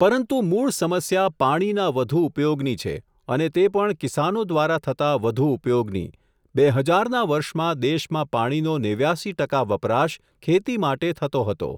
પરંતુ મૂળ સમસ્યા પાણીના વઘુ ઉપયોગની છે, અને તે પણ કિસાનો દ્વારા થતા વઘુ ઉપયોગની, બે હજાર ના વર્ષમાં દેશમાં પાણીનો નેવ્યાસી ટકા વપરાશ ખેતી માટે થતો હતો.